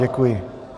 Děkuji.